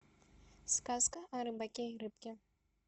сказка о рыбаке и рыбке